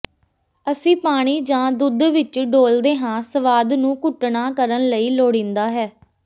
ਅਸੀਂ ਪਾਣੀ ਜਾਂ ਦੁੱਧ ਵਿਚ ਡੋਲ੍ਹਦੇ ਹਾਂ ਸਵਾਦ ਨੂੰ ਘੁਟਣਾ ਕਰਨ ਲਈ ਲੋੜੀਂਦਾ ਹੈ